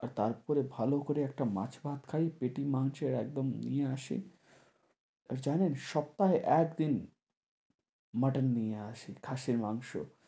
আর তারপরে ভালো করে একটা মাছ ভাত খাই পেটির মাংসের একদম নিয়ে আসি। আর জানেন সপ্তাহে একদিন mutton নিয়ে আসি খাসির মাংস।